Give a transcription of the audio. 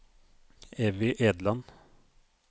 Evy Edland